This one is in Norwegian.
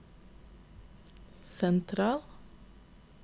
sentral